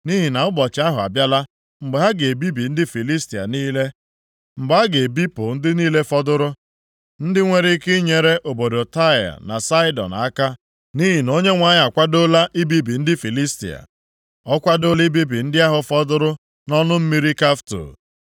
Nʼihi na ụbọchị ahụ abịala mgbe a ga-ebibi ndị Filistia niile, mgbe a ga-ebipụ ndị niile fọdụrụ, ndị nwere ike inyere obodo Taịa na Saịdọn aka. Nʼihi na Onyenwe anyị akwadoola ibibi ndị Filistia, o kwadoola ibibi ndị ahụ fọdụrụ nʼọnụ mmiri Kafto.